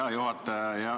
Hea juhataja!